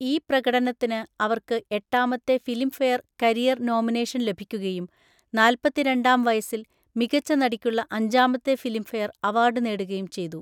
ഈ പ്രകടനത്തിന്, അവർക്ക് എട്ടാമത്തെ ഫിലിംഫെയർ കരിയർ നോമിനേഷൻ ലഭിക്കുകയും നാല്‍പത്തിരണ്ടാം വയസ്സിൽ മികച്ച നടിക്കുള്ള അഞ്ചാമത്തെ ഫിലിംഫെയർ അവാർഡ് നേടുകയും ചെയ്തു.